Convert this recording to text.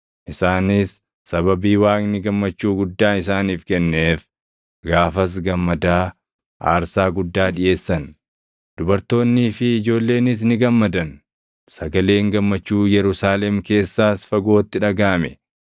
Isaanis sababii Waaqni gammachuu guddaa isaaniif kenneef gaafas gammadaa aarsaa guddaa dhiʼeessan. Dubartoonnii fi ijoolleenis ni gammadan. Sagaleen gammachuu Yerusaalem keessaas fagootti dhagaʼame.